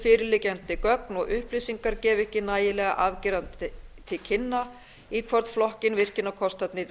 fyrirliggjandi gögn og upplýsingar gefa ekki nægilega afgerandi til kynna í hvorn flokkinn virkjunarkostirnir